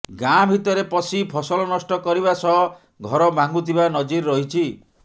ଗାଁ ଭିତରେ ପଶି ଫସଲ ନଷ୍ଟ କରିବା ସହ ଘର ଭାଙ୍ଗୁଥିବା ନଜିର ରହିଛି